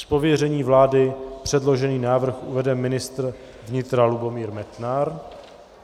Z pověření vlády předložený návrh uvede ministr vnitra Lubomír Metnar.